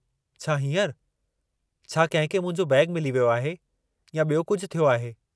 छा हींअरु? छा कंहिं खे मुंहिंजो बैग मिली वियो आहे या बि॒यो कुझु थियो आहे?